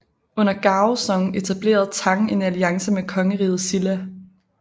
Under Gaozong etablerede Tang en alliance med kongeriget Silla